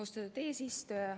Austatud eesistuja!